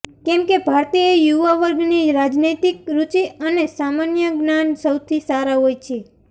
કેમ કે ભારતીય યુવાવર્ગની રાજનૈતિક રૂચિ અને સામાન્ય જ્ઞાન સૌથી સારા હોય છે